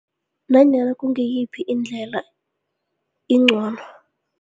Nanyana kungiyiphi indlela incono.